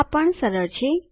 આ પણ સરળ છે